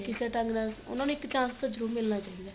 ਕਿਸੇ ਢੰਗ ਨਾਲ ਉਨਾ ਨੂੰ ਇੱਕ chance ਤਾਂ ਜਰੂਰ ਮਿਲਣਾ ਚਾਹੀਦਾ